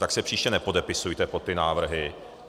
Tak se příště nepodepisujte pod ty návrhy.